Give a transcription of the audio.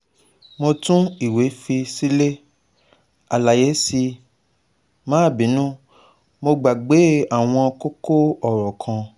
Mo tun iwe fi sile, alaye sii, ma binu, mo gbagbe awon koko oro kan